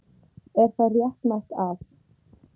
Er það réttmætt að.